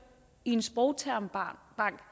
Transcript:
i en sprogtermbank